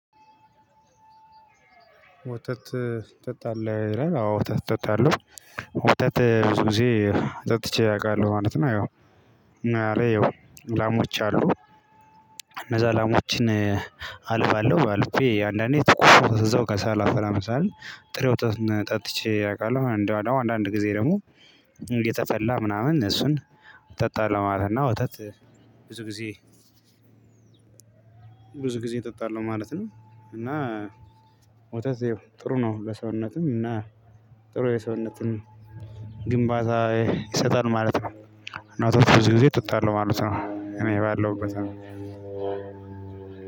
ወተት ትጠጣለህ ይላል አዎ ወተት እጠጣለሁ ወተት ብዙ ጊዜ ጠጥቼ አውቃለሁ ማለት ነው። አየው እና እዛለይ ያው ላሞች አሉ እነዛ ላሞችን። አልባለሁ አልቤ አንዳንዴ ትኩስ እዛው ሳላፈላ ምንሳልል ጥሬ ወተቱን ጠጥቼ አውቃለሁ። እንደው አንዳንድ ጊዜ ደግሞ የተፈላ ምናምን እሱን እጠጣለሁ ማለት የው ወተት። ብዙ ጊዜ ብዙ ጊዜ እጠጣለሁ ማለት ነው። እና ወተት ያው ጥሩ ነው ለሰውነትም እና ጥሩ የሰውነትን ግንባታ ይሰጣል ማለት ነው። እና ወተት ብዙ ጊዜ እጠጣለሁ ማለት ነው። እኔ ባለሁበት